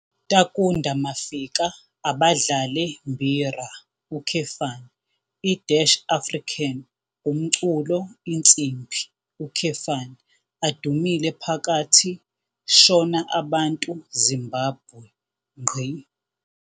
Takunda Mafika abadlale Mbira, i-African umculo insimbi, adumile phakathi Shona abantu Zimbabwe.